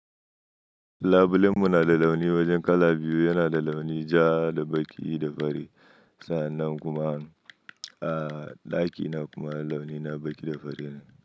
Labulen mu na da launi wajen kala biyu, yana da launi ja da baƙi da fari. Sa'annan kuma a ɗakina kuma launi na baƙi da fari ne.